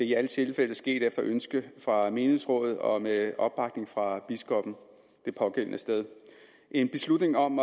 i alle tilfælde sket efter ønske fra menighedsrådet og med opbakning fra biskoppen det pågældende sted en beslutning om